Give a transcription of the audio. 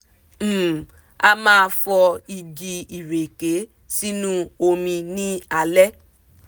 um a máa fọ igi ìreke sinu omi ní alẹ́